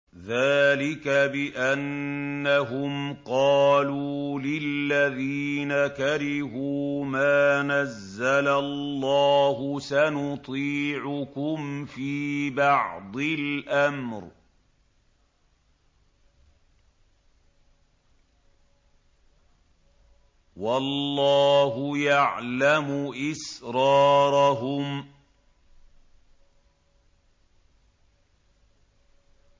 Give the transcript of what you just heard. ذَٰلِكَ بِأَنَّهُمْ قَالُوا لِلَّذِينَ كَرِهُوا مَا نَزَّلَ اللَّهُ سَنُطِيعُكُمْ فِي بَعْضِ الْأَمْرِ ۖ وَاللَّهُ يَعْلَمُ إِسْرَارَهُمْ